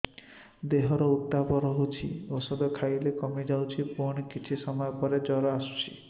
ଦେହର ଉତ୍ତାପ ରହୁଛି ଔଷଧ ଖାଇଲେ କମିଯାଉଛି ପୁଣି କିଛି ସମୟ ପରେ ଜ୍ୱର ଆସୁଛି